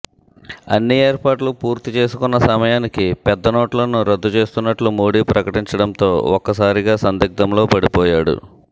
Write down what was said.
అన్ని ఏర్పాట్లు పూర్తి చేసుకున్న సమయానికి పెద్దనోట్లను రద్దు చేస్తున్నట్లు మోడీ ప్రకటించడంతో ఒక్కసారిగా సందిగ్ధంలో పడిపోయాడు